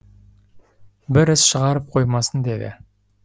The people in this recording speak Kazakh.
бір іс шығарып қоймасын деді